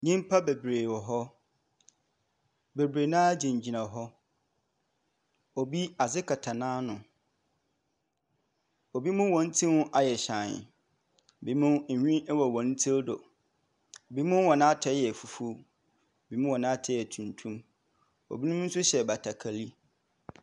Nyimpa beberee wɔ hɔ. Beberee no ara gyinagyina hɔ. Obi, adze kata n’ano. Binom hɔn tsir ayɛ hyɛnn, binom nhwi wɔ hɔn tsir do. Binom hɔn atar yɛ fufuw, binom hɔn atar yɛ tuntum, binom so hyɛ batakari.